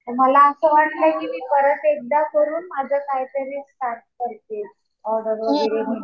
मला असं वाटलं कि मी परत एकदा करून माझं काहीतरी स्टार्ट करते. ऑर्डर वगैरे.